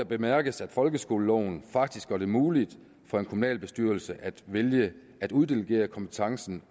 bemærkes at folkeskoleloven faktisk gør det muligt for en kommunalbestyrelse at vælge at uddelegere kompetencen